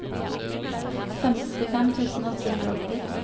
femtifem tusen åtte hundre og åtti